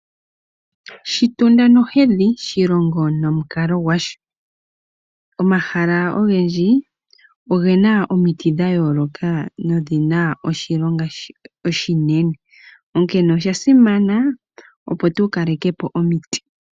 Shitunda nohedhi, shilongo nomukalo gwasho. Omahala ogendji oge na omiti dha yooloka nodhi na oshilonga oshinene, onkene osha simana opo tu kaleke po omiti.